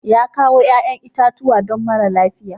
Ya kawo 'ƴa'ƴan itatuwa don mara lafiya.